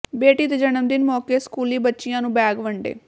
ਬੇਟੀ ਦੇ ਜਨਮ ਦਿਨ ਮੌਕੇ ਸਕੂਲੀ ਬੱਚਿਆਂ ਨੂੰ ਬੈਗ ਵੰਡੇ